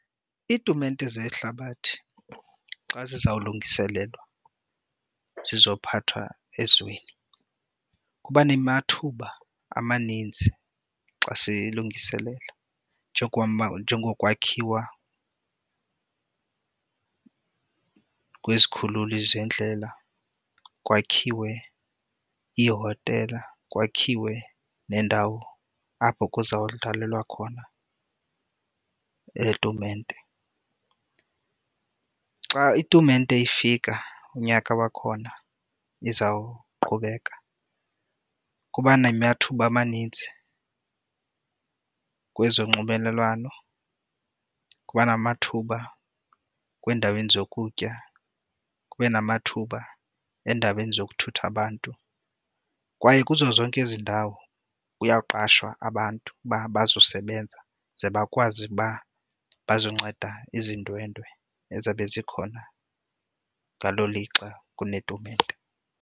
Iitumente zehlabathi xa zizawulungiselelwa zizophathwa ezweni kuba nemathuba amaninzi xa siyilungiselela njengokwakhiwa kwezikhululi zeendlela, kwakhiwe iihotela, kwakhiwe neendawo apho kuzawudlalwa khona le tumente. Xa itumente ifika unyaka wakhona izawuqhubeka kuba namathuba amaninzi kwezonxibelelwano, kuba namathuba kwiindaweni zokutya, kube namathuba eendaweni yokuthutha abantu. Kwaye kuzo zonke ezi ndawo kuyaqashwa abantu uba bazosebenza, ze bakwazi uba bazonceda ezi ndwendwe ezabe zikhona ngalo lixa kunetumente.